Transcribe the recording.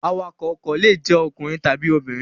Awakọ̀ ọkọ̀ le jẹ́ ọkùnrin tàbí obìnrin.